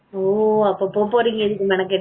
ஓ அப்போ போக போறீங்க இதுக்கு மெனக்கிட்டு